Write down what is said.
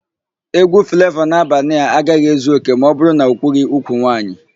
Égwú Flavọ n'Abanịa agaghị ezu òkè ma ọbụrụ na okwughỊ úkwù nwaanyị.